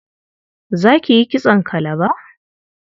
Za ki yi kitson kalaba?